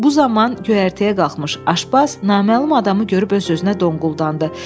Bu zaman göyərtəyə qalxmış Aşpaz naməlum adamı görüb öz-özünə donquldandı: